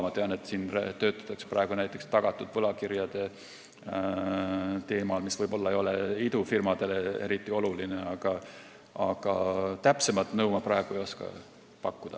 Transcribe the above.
Ma tean, et siin töötatakse praegu näiteks tagatud võlakirjade teemaga, mis ei ole võib-olla idufirmadele eriti oluline, aga täpsemat nõu ma praegu ei oska pakkuda.